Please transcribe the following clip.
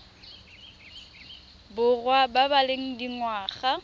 borwa ba ba leng dingwaga